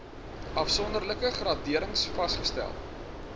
afsonderlike graderings vasgestel